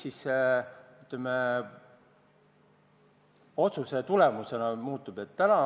Mis selle otsuse tulemusena muutub?